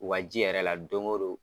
O ka ji yɛrɛ la don o don